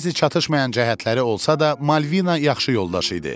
Bəzi çatışmayan cəhətləri olsa da, Malvina yaxşı yoldaş idi.